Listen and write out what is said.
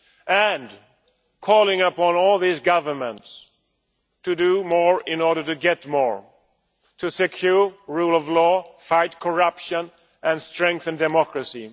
And calling upon all these governments to do more in order to get more, to secure the rule of law, fight corruption and strengthen democracy.